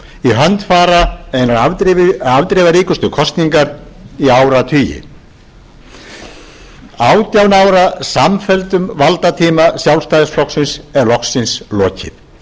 í hönd fara einar afdrifaríkustu kosningar í áratugi átján ára samfelldum valdatíma sjálfstæðisflokksins er loksins lokið